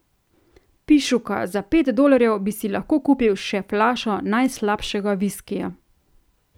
Pišuka, za pet dolarjev bi si lahko kupil še flašo najslabšega viskija.